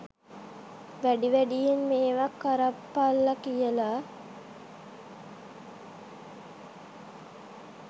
වැඩි වැඩියෙන් මේවා කරපල්ල කියල.